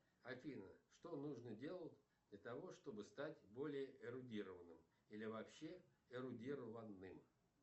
афина что нужно делать для того чтобы стать более эрудированным или вообще эрудированным